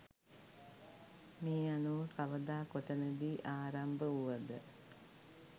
මේ අනුව කවදා කොතැනදී ආරම්භ වුවද